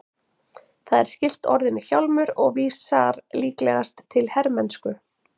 Það er skylt orðinu hjálmur og vísar líklegast til hermennsku.